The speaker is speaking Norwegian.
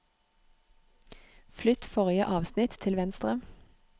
Flytt forrige avsnitt til venstre